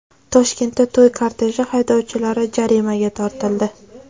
Toshkentda to‘y korteji haydovchilari jarimaga tortildi.